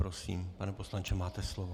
Prosím, pane poslanče, máte slovo.